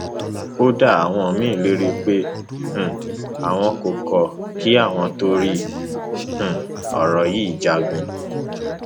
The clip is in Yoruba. kódà àwọn míín ń lérí pé um àwọn kò kò kí àwọn torí um ọrọ yìí jagun